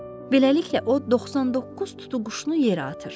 Beləliklə o 99 tutuquşunu yerə atır.